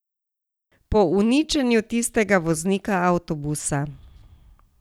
Po uničenju tistega voznika avtobusa.